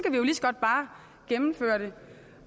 godt bare gennemføre det